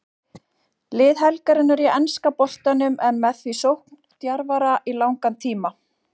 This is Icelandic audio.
Lið helgarinnar í enska boltanum er með því sókndjarfara í langan tíma.